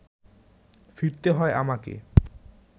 ফিরতে হয় আমাকে